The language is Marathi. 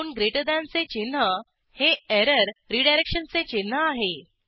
दोन ग्रेटर दॅनचे चिन्ह 2जीटीहे एरर रीडायरेक्शनचे चिन्ह आहे